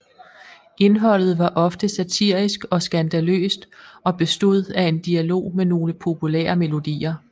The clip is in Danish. Indholdet var ofte satirisk og skandaløst og bestod af en dialog med nogle populære melodier